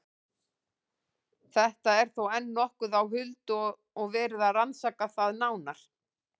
Þetta er þó enn nokkuð á huldu og er verið að rannsaka það nánar.